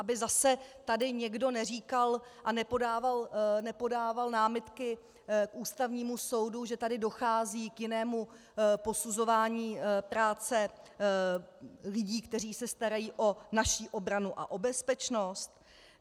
Aby zase tady někdo neříkal a nepodával námitky k Ústavnímu soudu, že zde dochází k jinému posuzování práce lidí, kteří se starají o naši obranu a o bezpečnost.